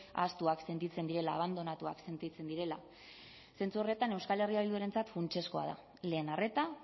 ahaztuak sentitzen direla abandonatuak sentitzen direla zentzu horretan euskal herria bildurentzat funtsezkoa da lehen arreta